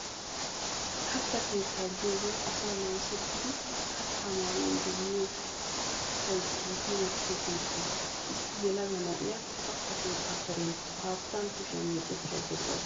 Katta keetta giyoogee asay namiseytidi kaattaa maanawu demmiyoo kattay giigi wottiyoo keettaa. Issi yelaga na'iyaa kaatta keetta Karen haattan kushiyaa meecetayda de'awusu.